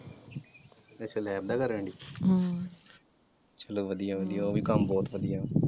ਅੱਛਾ lab ਦਾ ਕਰਨ ਡੀ ਹਮ ਚਲੋ ਵਧੀਆ ਵਧੀਆ ਉਹਵੀ ਕੰਮ ਬਹੁਤ ਵਧੀਆ।